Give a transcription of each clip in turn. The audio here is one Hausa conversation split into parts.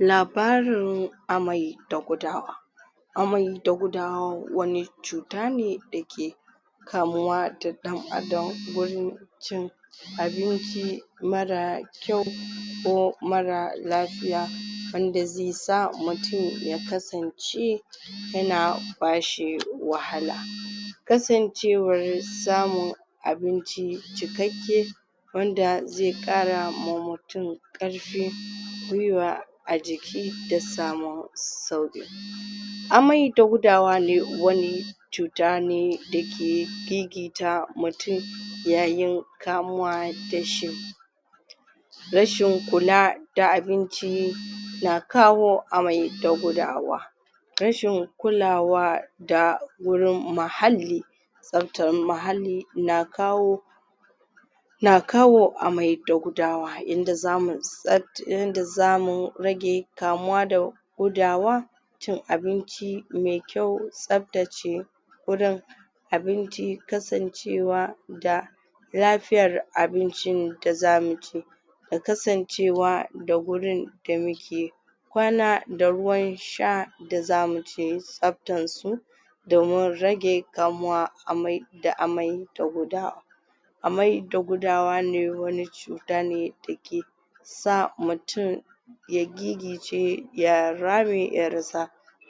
labarin amai da gudawa amai da gudawa wani cuta ne dake kamuwa da ɗan Adam gurin cin abinci marar kyau ko marar lafiya wanda ze sa mutum ya kasance yana bashi wahala kasancewar samun abinci cikakke wanda ze ƙara ma mutum ƙarfi gwiwa a jiki da samun sau amai da gudawa de wani cuta ne da ke gigita mutum yayin kamuwa da shi rashin kula da abinci na kawo amai da gudawa rashin kulawa da gurin muhalli tsabtan muhalli na kawo na kawo amai da gudawa yanda zamu tsab yanda zamu rage kamuwa da gudawa cin abinci me kyau, tsabtace gurin abinci, kasancewa da lafiyar abincin da zamu ci da kasancewa da gurin da muke kwana da ruwan sha da zamu tsabtan su domin rage kamuwa amai da amai da gudawa amai da gudawa ne wani cuta ne dake sa mutum ya gigice ya rame ya rasa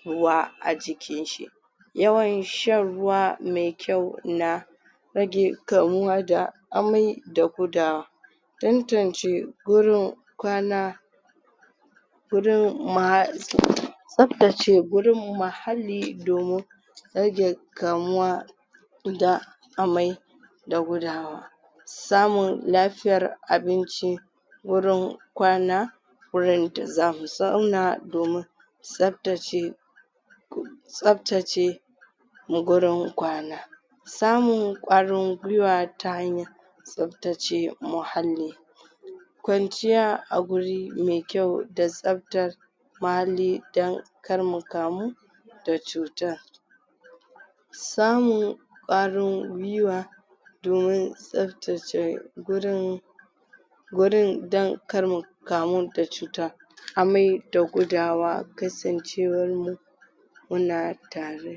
ruwa a jikin shi yawan shan ruwa me kyau na rage kamuwa da amai da gudawa tantance gurin kwana gurin tsabtace gurin muhalli domin rage kamuwa da amai da gudawa samun lafiyar abinci wurin kwana wurin da zamu zauna domin tsabtace tsabtace gurin kwana samun ƙwarin gwiwa ta hanyar tsabtace muhalli kwanciya a guri me kyau da tsabtar muhalli dan kar mu kamu da cutan samun ƙwarin gwiwa domin tsabtace gurin gurin dan kar mu kamu da cuta amai da gudawa kasancewar mu muna tare